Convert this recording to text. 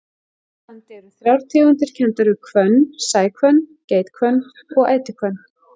Hér á landi eru þrjár tegundir kenndar við hvönn, sæhvönn, geithvönn og ætihvönn.